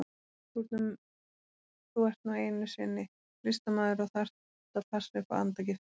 Þú ert nú einu sinni listamaður og þarft að passa upp á andagiftina.